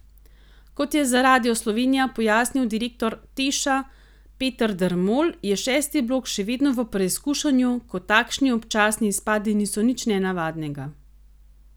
Kot je za Radio Slovenija pojasnil direktor Teša Peter Dermol, je šesti blok še vedno v preizkušanju, ko takšni občasni izpadi niso nič nenavadnega.